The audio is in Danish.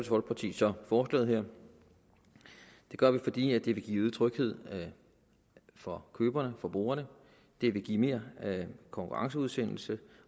folkeparti så forslaget her det gør vi fordi det vil give øget tryghed for køberne forbrugerne og det vil give mere konkurrenceudsættelse